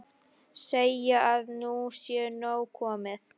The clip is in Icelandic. Segja að nú sé nóg komið.